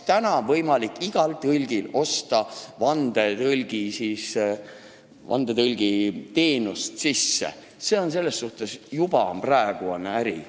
Täna on võimalik igal tõlgil osta vandetõlgiteenust, see on juba praegu äri.